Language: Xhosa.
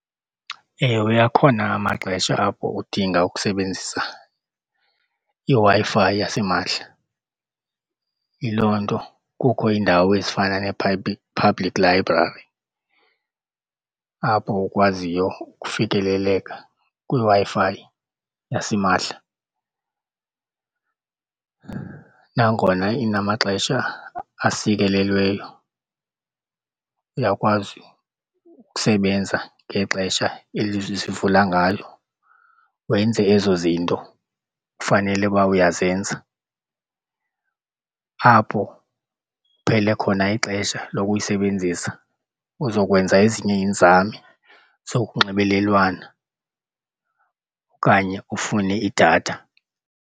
Ewe, akhona amaxesha apho udinga ukusebenzisa iWi-Fi yasimahla. Yiloo nto kukho iindawo ezifana public library apho ukwaziyo ukufikeleleka kwiWi-Fi yasimahla. Nangona inamaxesha asikelelweyo uyakwazi ukusebenza ngexesha eli zivula ngalo wenze ezo zinto kufanele uba uyazenza. Apho kuphele khona ixesha lokuyisebenzisa uzokwenza ezinye iinzame zokunxibelelwana okanye ufune idatha.